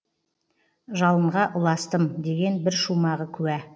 жалынға ұластым деген бір шумағы куә